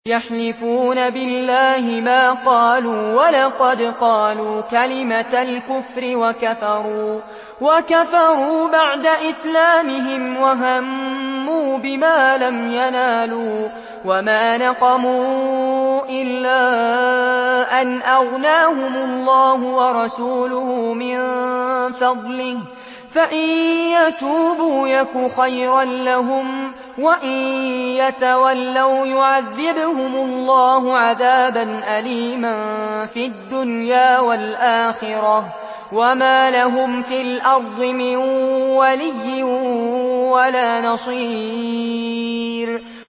يَحْلِفُونَ بِاللَّهِ مَا قَالُوا وَلَقَدْ قَالُوا كَلِمَةَ الْكُفْرِ وَكَفَرُوا بَعْدَ إِسْلَامِهِمْ وَهَمُّوا بِمَا لَمْ يَنَالُوا ۚ وَمَا نَقَمُوا إِلَّا أَنْ أَغْنَاهُمُ اللَّهُ وَرَسُولُهُ مِن فَضْلِهِ ۚ فَإِن يَتُوبُوا يَكُ خَيْرًا لَّهُمْ ۖ وَإِن يَتَوَلَّوْا يُعَذِّبْهُمُ اللَّهُ عَذَابًا أَلِيمًا فِي الدُّنْيَا وَالْآخِرَةِ ۚ وَمَا لَهُمْ فِي الْأَرْضِ مِن وَلِيٍّ وَلَا نَصِيرٍ